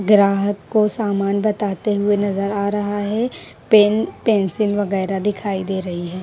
ग्राहक को सामान बताते हुए नजर आ रहा है पेन पेंसिल वगैरह दिखाई दे रही है।